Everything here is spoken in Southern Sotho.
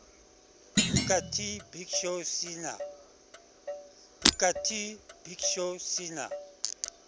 booker t big show cena